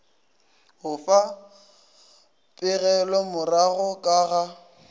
go fa pegelomorago ka ga